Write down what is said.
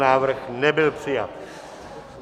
Návrh nebyl přijat.